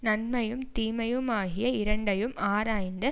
நன்மையும் தீமையுமாகிய இரண்டையும் ஆராய்ந்து